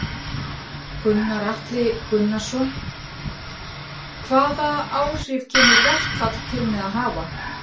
Gunnar Atli Gunnarsson: Hvaða áhrif kemur verkfall til með að hafa?